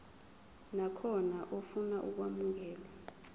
nakhona ofuna ukwamukelwa